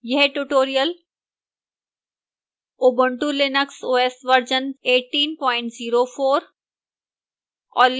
यह tutorial ubuntu linux os version 1804 और